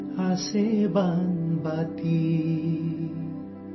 جھولے میں تھی پیاری سی کٹوری!